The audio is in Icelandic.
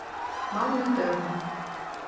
mánudögum